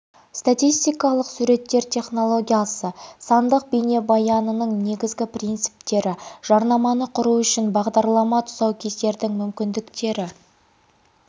статистикалық суреттер технологиясы сандық бейнебаянның негізгі принциптері жарнаманы құру үшін бағдарлама тұсаукесердің мүмкіндіктері